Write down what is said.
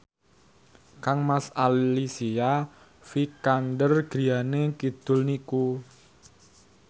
kangmas Alicia Vikander griyane kidul niku